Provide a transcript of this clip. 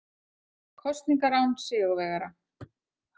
Kosningar án sigurvegara